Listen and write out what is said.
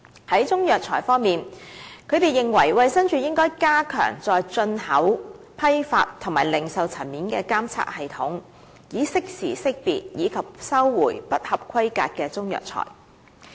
在中藥材方面，他們認為衞生署應加強在進口、批發和零售層面的監測系統，以適時識別及收回不合規格的中藥材。